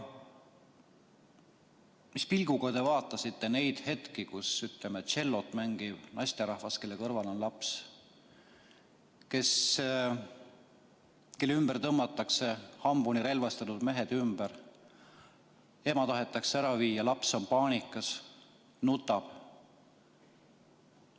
Mis pilguga te vaatasite neid hetki, kus, ütleme, tšellot mängiv naisterahvas, kelle kõrval on tema laps ja kelle ümber tõmmatakse hambuni relvastatud mehed, ema tahetakse ära viia, laps on paanikas, nutab?